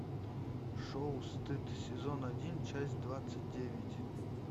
шоу стыд сезон один часть двадцать девять